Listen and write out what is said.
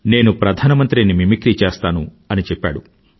నేను ప్రధానమంత్రి ని మిమిక్రి చేస్తాను అని చెప్పాడు